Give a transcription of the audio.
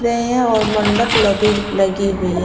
है और मंडप लगी हुई है।